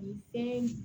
U bɛɛ